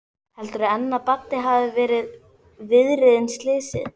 Heldurðu enn að Baddi hafi verið viðriðinn slysið?